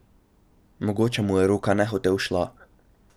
Mogoče mu je roka nehote ušla.